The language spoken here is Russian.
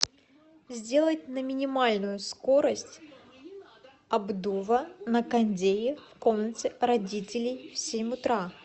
сделать на минимальную скорость обдува на кондее в комнате родителей в семь утра